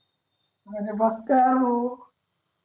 म्हणजे बघतोय हो